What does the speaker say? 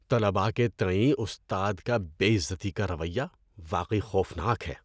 طلباء کے تئیں استاد کا بے عزتی کا رویہ واقعی خوفناک ہے۔